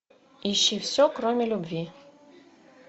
ищи все кроме любви